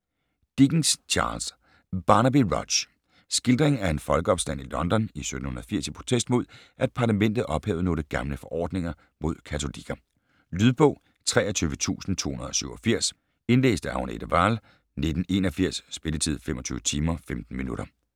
Dickens, Charles: Barnaby Rudge Skildring af en folkeopstand i London i 1780 i protest mod, at parlamentet ophævede nogle gamle forordninger mod katolikker. Lydbog 23287 Indlæst af Agnete Wahl, 1981. Spilletid: 25 timer, 15 minutter.